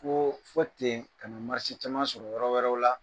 Ko fɔ ten ka na caman sɔrɔ yɔrɔ wɛrɛw la